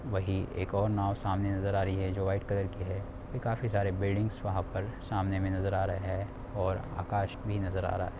वही एक और नाव सामने नजर आ रही है जो वाईट कलर की है खाफी सारे बिल्डिंग्स वहाँ पर सामने में नजर आ रहे हे ओर आकश भी नजर आ रहा है।